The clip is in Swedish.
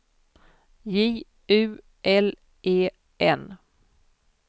J U L E N